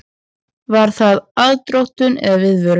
Var það aðdróttun eða viðvörun?